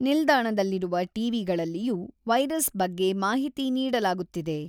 ನಿಲ್ದಾಣದಲ್ಲಿರುವ ಟಿವಿಗಳಲ್ಲಿಯೂ ವೈರಸ್ ಬಗ್ಗೆ ಮಾಹಿತಿ ನೀಡಲಾಗುತ್ತಿದೆ.